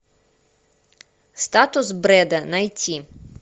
статус брэда найти